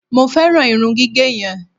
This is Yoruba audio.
mo feran irun gige yen